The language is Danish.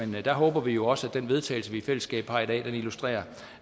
men der håber vi jo også at den vedtagelse vi i fællesskab har i dag illustrerer